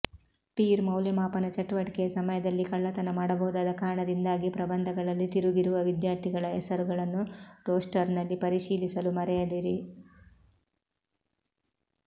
peer ಮೌಲ್ಯಮಾಪನ ಚಟುವಟಿಕೆಯ ಸಮಯದಲ್ಲಿ ಕಳ್ಳತನ ಮಾಡಬಹುದಾದ ಕಾರಣದಿಂದಾಗಿ ಪ್ರಬಂಧಗಳಲ್ಲಿ ತಿರುಗಿರುವ ವಿದ್ಯಾರ್ಥಿಗಳ ಹೆಸರುಗಳನ್ನು ರೋಸ್ಟರ್ನಲ್ಲಿ ಪರಿಶೀಲಿಸಲು ಮರೆಯದಿರಿ